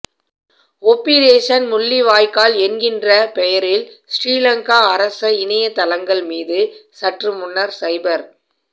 ஒப்பிரேசன் முள்ளிவாய்க்கால் என்கின்ற பெயரில் சிறிலங்கா அரச இணையத்தளங்கள் மீது சற்று முன்னர் சைபர்